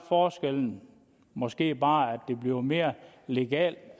forskellen måske bare at det bliver mere legalt